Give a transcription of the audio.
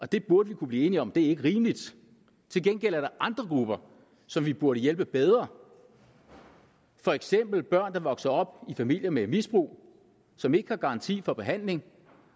det burde vi kunne blive enige om ikke er rimeligt til gengæld er der andre grupper som vi burde hjælpe bedre for eksempel børn der vokser op i familier med misbrug og som ikke har garanti for behandling